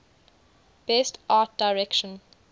best art direction